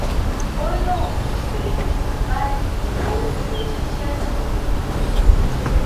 ó lóun ti fẹyìntì báyìí òun kò ṣiṣẹ náà mọ